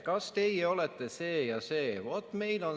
Kas teie olete see ja see?